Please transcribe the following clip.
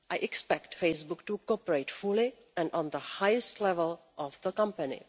I expect Facebook to cooperate fully and at the highest level of the company.